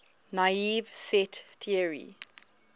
naive set theory